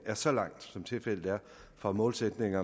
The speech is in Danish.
er så langt som tilfældet er fra målsætningen